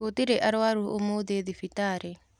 Gũtirĩarwaru ũmũthĩthibitarĩ.